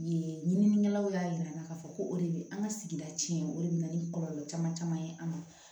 Yen ɲininikɛlaw y'a yir'an na k'a fɔ ko o de bɛ an ka sigida tiɲɛ o de bɛ na ni kɔlɔlɔ caman caman ye an ma